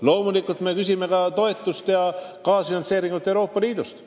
Loomulikult me küsime selleks toetust ja kaasfinantseeringut Euroopa Liidust.